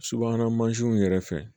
Subahana mansinw yɛrɛ fɛ